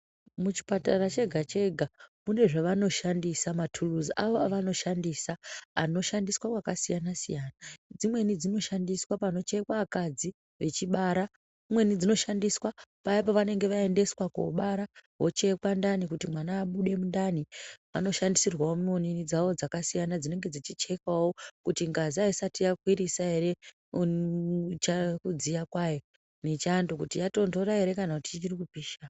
Muchipatara chega chega mune zvavanoshandisa maturuzi avo avonoshandisa anoshandiswa kwakasiyana siyana dzimweni dzinoshandiswa panochekwa akadzi vechibara, dzimweni dzinoshandiswa paya pavanenge vaendeswa kobara vochekwa ndiani kuti mwana abide mundani vanoshandisirwawo muonini dzawo dzakasiyana dzinenge dzichekawo kuti ngazi aisati yakwirisa ere kudziya kwayo nechando kuti yatondora ere kana ichiri kupisha.